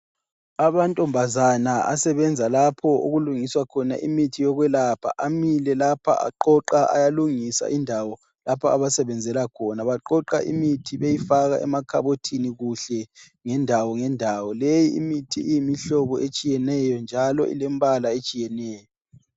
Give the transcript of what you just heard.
Amantombazane asebenza lapho okulungiswa khona imithi yokwelapha amile lapha aqoqa ayalungisa indawo lapho abasebenzela khona. Baqoqa imithi beyifaka emakhabothini kuhle ngendawo ngendawo. Leyi imithi iyimihlobo etshiyeneyo njalo ilembala etshiyeneyo.